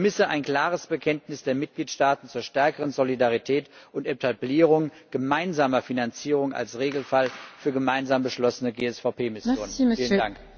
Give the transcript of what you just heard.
Ich vermisse ein klares Bekenntnis der Mitgliedstaaten zur stärkeren Solidarität und Etablierung gemeinsamer Finanzierung als Regelfall für gemeinsam beschlossene GSVP Missionen.